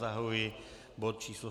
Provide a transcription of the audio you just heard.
Zahajuji bod číslo